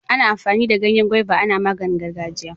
Ana amfani da Ganyen gwaiva ana maganin gargajiya.